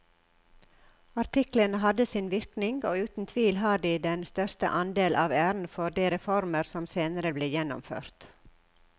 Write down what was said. Artiklene hadde sin virkning og uten tvil har de den største andel av æren for de reformer som senere ble gjennomført.